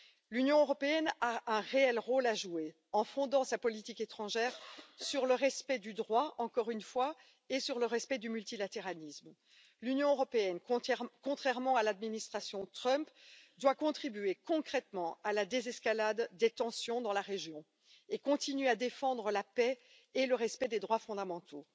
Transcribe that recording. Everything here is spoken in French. L'Union européenne a un réel rôle à jouer en fondant sa politique étrangère sur le respect du droit, encore une fois, et sur le respect du multilatéralisme. L'Union européenne, contrairement à l'administration Trump, doit contribuer concrètement à la désescalade des tensions dans la région et continuer à défendre la paix et le respect des droits fondamentaux.